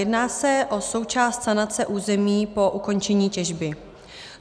Jedná se o součást sanace území po ukončení těžby.